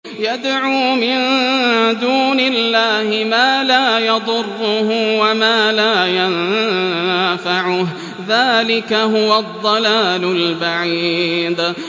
يَدْعُو مِن دُونِ اللَّهِ مَا لَا يَضُرُّهُ وَمَا لَا يَنفَعُهُ ۚ ذَٰلِكَ هُوَ الضَّلَالُ الْبَعِيدُ